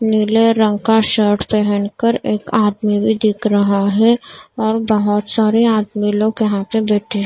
नीले रंग का शर्ट पहनकर एक आदमी भी दिख रहा है और बहुत सारी आदमी लोग यहाँ प बैठी--